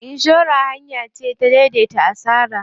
Inshora hanya ce ta dai dai ta asara.